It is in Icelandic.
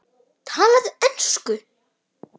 Talaðu ensku!